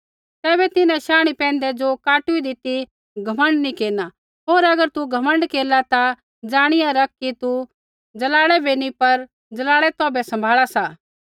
तैबै तिन्हां शांणी पैंधै ज़ो काटूईदी ती घमण्ड नी केरना होर अगर तू घमण्ड केरला ता जाणिया रख कि तू जड़ाह बै नैंई पर जड़ तौभै सम्भाला सा